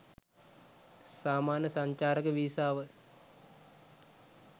සාමාන්‍ය සංචාරක වීසාව